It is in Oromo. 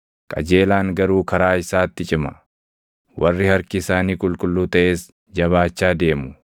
Qajeelaan garuu karaa isaatti cima; warri harki isaanii qulqulluu taʼes jabaachaa deemu.